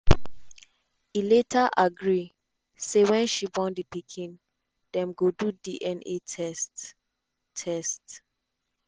e later agree say wen she born di pikin dem go do dna test. test.